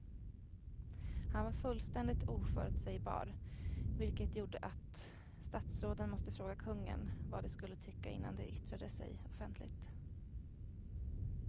Han var fullständigt oförutsägbar vilket gjorde att statsråden måste fråga kungen vad de skulle tycka innan de yttrade sig offentligt.